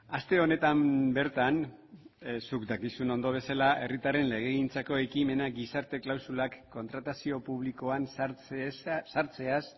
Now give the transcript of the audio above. aste honetan bertan zuk dakizun ondo bezela herritarren legegintzako ekimena gizarte klausulak kontratazio publikoan sartzeaz